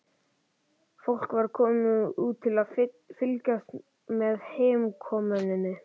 Fólk var komið út til að fylgjast með heimkomunni.